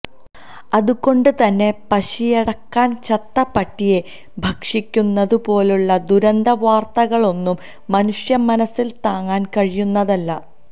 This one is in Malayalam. അതുകൊണ്ട് തന്നെ പശിയടക്കാൻ ചത്ത പട്ടിയെ ഭക്ഷിക്കുന്നതു പോലുളള ദുരന്ത വാർത്തകളൊന്നും മനുഷ്യ മനസ്സിന് താങ്ങാൻ കഴിയുന്നതല്ല